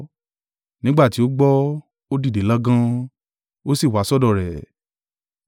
Nígbà tí ó gbọ́, ó dìde lọ́gán, ó sì wá sọ́dọ̀ rẹ̀.